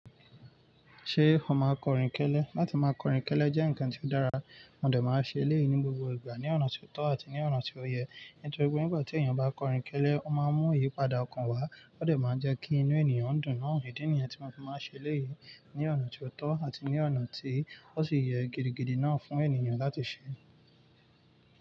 Ṣé o máa kọrin kẹ́lẹ́? Láti máa kọrin kẹ́lẹ́ jẹ́ ǹkan tí ó dára, mo dẹ̀ máa ń ṣe léyìí ní gbogbo ìgbà, ní ọ̀nà tí ó tọ́ àti ní ọ̀nà tí ó yẹ. Nítorí pé nígbà tí ènìyàn bá kọrin kẹ́lẹ́, ó máa ń mú ìyípadà ọkàn wá, óòdẹ̀ máa ń jẹ́ kí inú ènìyàn dùn mọ́. Idi ní yen tí mo fi máa ṣe léyìí ní ọ̀nà tí ó tọ́ àti ní ọ̀nà tí ó sì yẹ gidigidi náà fún ènìyàn láti ṣe.